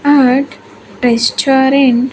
At restaurant.